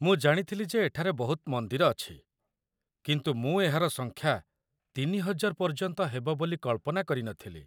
ମୁଁ ଜାଣିଥିଲି ଯେ ଏଠାରେ ବହୁତ ମନ୍ଦିର ଅଛି, କିନ୍ତୁ ମୁଁ ଏହାର ସଂଖ୍ୟା ୩୦୦୦ ପର୍ଯ୍ୟନ୍ତ ହେବ ବୋଲି କଳ୍ପନା କରି ନଥିଲି।